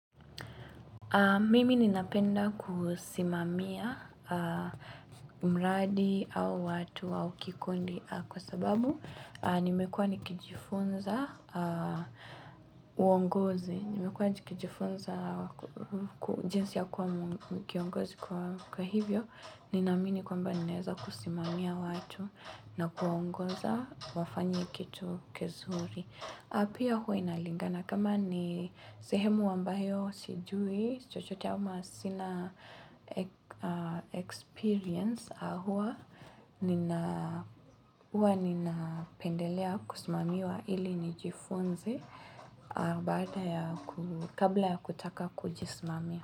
Mimi ninapenda kusimamia mradi au watu wa kikundi kwa sababu nimekuwa nikijifunza uongozi. Nimekuwa nikijifunza jinsi ya kuwa kiongozi kwa, kwa hivyo Ninaamini kwamba ninaweza kusimamia watu na kuwaongoza wafanye kitu kizuri. Na pia huwa inalingana kama ni sehemu ambyao sijui chochote ama sina experience huwa nina huwa ninapendelea kusimamiwa ili nijifunze baada ya ku kabla ya kutaka kujisimamia.